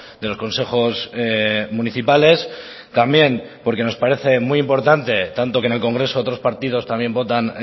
de los consejos municipales también porque nos parece muy importante tanto que en el congreso otros partidos también votan